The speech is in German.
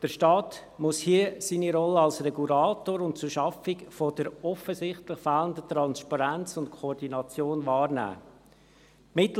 Der Staat muss hier seine Rolle als Regulator und zur Schaffung der offensichtlich fehlenden Transparenz und Koordination wahrnehmen.